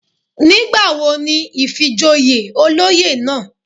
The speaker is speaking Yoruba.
Nígbàwo ni ìfìjoyè olóyè náà?